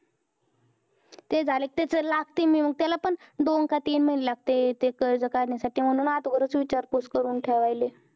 ते झाले त्याचा लागते मी मग त्याला पण दोन काय तीन महिने लागते ते कर्ज काढण्या साठी म्हणून आगोदर च विचारपूस करून ठेवायले